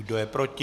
Kdo je proti?